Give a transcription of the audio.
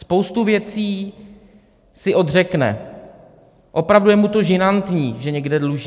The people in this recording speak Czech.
Spoustu věcí si odřekne, opravdu je mu to žinantní, že někde dluží.